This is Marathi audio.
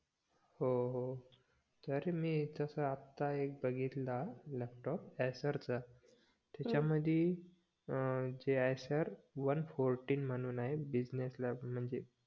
हो हो तरी मी तस आता एक बघितला लॅपटॉप एस्सारचा त्याच्यामध्ये एस्सार वन फोर्टिन म्हणून आहे business lap म्हणजे